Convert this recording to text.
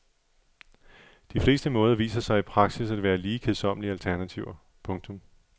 De fleste måder viser sig i praksis at være lige kedsommelige alternativer. punktum